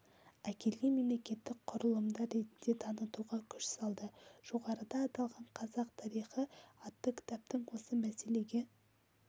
әкелген мемлекеттік құрылымдар ретінде танытуға күш салды жоғарыда аталған қазақ тарихы атты кітаптың осы мәселеге